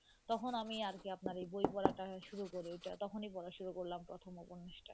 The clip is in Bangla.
তখন আমি আর কী আপনার এই বই পড়াটা শুরু করি ওইটা তখনই পড়া শুরু করলাম প্রথম উপন্যাসটা,